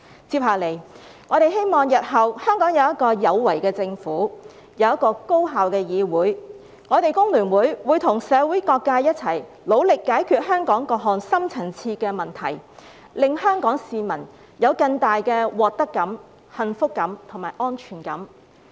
接下來，我們希望日後香港有一個有為的政府，有一個高效的議會。我們工聯會會與社會各界一同努力解決香港各項深層次的問題，令香港市民有更大的獲得感、幸福感及安全感。